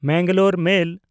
Mangalore ᱢᱮᱞ